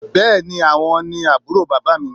Bẹ́ẹ́ni, àwọn ni aburo bàbá mi